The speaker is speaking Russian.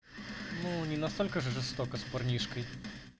ну не настолько же жестоко с парнишкой